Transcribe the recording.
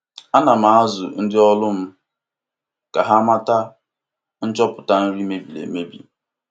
Ana m azụ ndị ọrụ m ka ha mata nchopụta nri mebiri emebi.